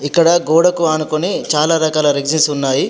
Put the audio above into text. ఇక్కడ గోడకు ఆనుకుని చాలా రకాల రెక్సిస్ ఉన్నాయి.